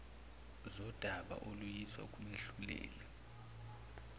zodaba oluyiswa kumehluleli